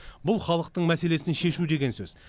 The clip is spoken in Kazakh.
бұл халықтың мәселесін шешу деген сөз